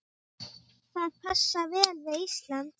Það passar vel við Ísland.